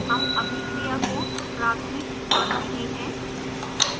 हम अभिक्रिया को प्राथमिक मान रहे हैं